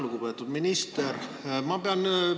Lugupeetud minister!